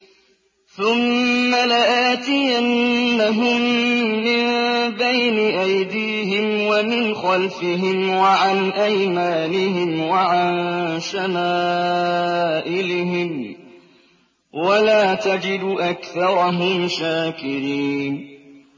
ثُمَّ لَآتِيَنَّهُم مِّن بَيْنِ أَيْدِيهِمْ وَمِنْ خَلْفِهِمْ وَعَنْ أَيْمَانِهِمْ وَعَن شَمَائِلِهِمْ ۖ وَلَا تَجِدُ أَكْثَرَهُمْ شَاكِرِينَ